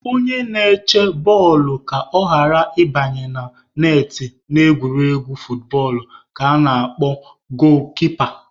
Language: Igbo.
Onye na-eche bọọlụ ka ọ ghara ị banye na netị n'egwuregwu footbọọlụ ka ana-akpọ goolu-kipa